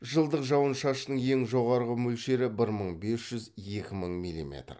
жылдық жауын шашынның ең жоғарғы мөлшері бір мың бес жүз екі мың миллиметр